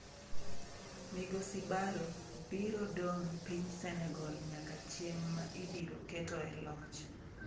Migosi Barrow biro dong' piny Senegal nyaka chieng' ma ibiro keto e loch.